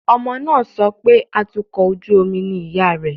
Ọmọbìnrin náà ń sọ pé atukọ̀ ojú omi ni ìyá rẹ̀